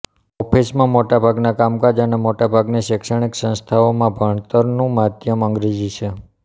ઓફિસોમાં મોટાભાગના કામકાજ અને મોટાભાગની શૈક્ષણિક સંસ્થાઓમાં ભણતરનું માધ્યમ અંગ્રેજી છે